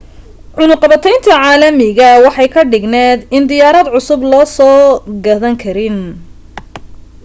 cunaqabateynta caalamiga waxa ay ka dhigneyd in diyaarad cusub lasoo gadan karin